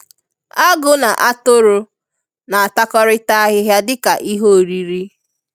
Agụ na atụrụ na-atakọrịta ahịhịa dịka ihe oriri.